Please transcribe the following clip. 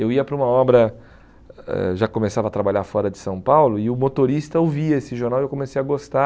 Eu ia para uma obra, eh já começava a trabalhar fora de São Paulo, e o motorista ouvia esse jornal e eu comecei a gostar.